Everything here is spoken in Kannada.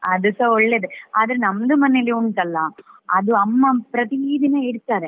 ಅದುಸ ಒಳ್ಳೆಯದೇ ಆದ್ರೆ ನಮ್ದು ಮನೆಯಲ್ಲಿ ಉಂಟಲ್ಲ ಅದು ಅಮ್ಮ ಪ್ರತಿದಿನ ಇಡ್ತಾರೆ.